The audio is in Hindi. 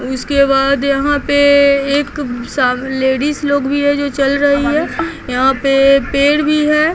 उसके बाद यहाँ पे एक लेडीज लोग भी है जो चल रही है यहाँ पे पेड़ भी है।